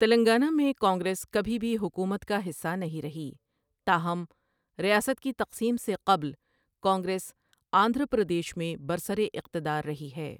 تلنگانہ میں کانگریس کبھی بھی حکومت کا حصہ نہیں رہی، تاہم، ریاست کی تقسیم سے قبل کانگریس آندھرا پردیش میں برسراقتدار رہی ہے۔